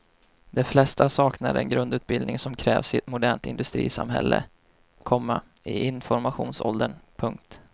De flesta saknar den grundutbildning som krävs i ett modernt industrisamhälle, komma i informationsåldern. punkt